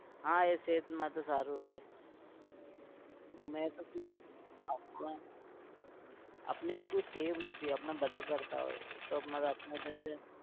હા એ सेहत માટે સારું હોય મેં કોઈ દિવસ આપણે એવી કોઈ ટેવ નથી આપણે બધા કરતા હોય